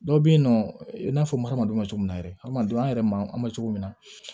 Dɔw bɛ yen nɔ i n'a fɔ adamadenw bɛ cogo min na yɛrɛ hadamadenw an yɛrɛ ma an bɛ cogo min na